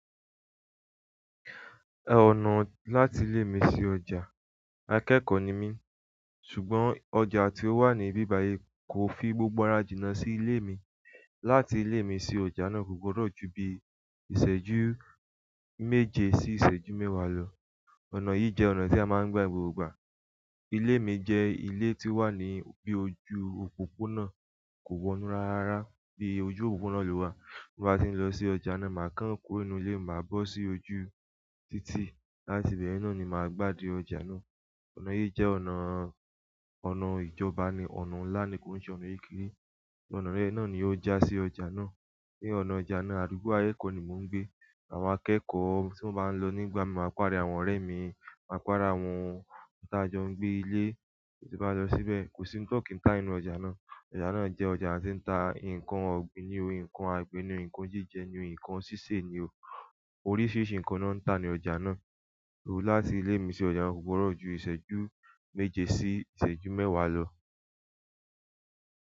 Ọ̀nà láti ilé mi sí ọjà, akẹ́kọ̀ọ́ ni mí, ṣùgbọ́n ọjà tí ó wà ní ibi ìbàyè kò fi gbogbo ara jìnà sí ilé mi. Láti ilé mi sí ọjà náà kò gbọdọ ju bi ìṣẹ́jú méje sí ìṣẹ́jú mẹ́wàá lọ. Ọ̀nà yìí jẹ́ ọ̀nà tí a máa ń gba gbogbo ìgbà. Ilé mi jẹ́ ilé tí ó wà ní bí ojú òpópónà, kò wọ́nú rárá, bí ojú òpópónà lọ wà. Bí mo bá ti ń lọ sí ọjà náà, màá kan kúrò inú ilé, màá bọ́ sí ojú títì, láti ibẹ̀ náà ni màá gbá de ọjà náà. Ọ̀nà yìí jẹ́ ọnà, ọnà ìjọba ni, ọnà ńlá ni kó ń ṣe ọnà kékeré. Ọ̀nà yen náà ni ó já sí ọjà náà. Ni ọ̀nà ọjà náà, àdúgbò ayé kò ni mò ń gbé. Àwọn akẹ́kọ̀ọ́ tí wọ́n bá ń lọ nígbà mí máa pàdé àwọn ọ̀rẹ́ mi, màá pàdé àwọn táa jọ ń gbé ilé tí mo bá lọ síbẹ̀. Ko si ohun ti won ki ta nínú ọjà na. Ọjà náà jẹ́ ọjà tí ń ta nǹkan ọ̀gbìn ni o, nǹkan àgbo ni o, nǹkan jíjẹ ni o, nǹkan sísè ni o. Oríṣiríṣi nǹkan ni wọn ń ta ní ọjà náà. Òru láti ilé mi sí ọjà kò gbọdọ ju ìṣẹ́jú méje sí ìṣẹ́jú mẹ́wàá lọ.